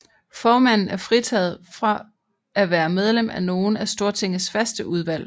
Formanden er fritaget fra at være medlem af nogen af Stortingets faste udvalg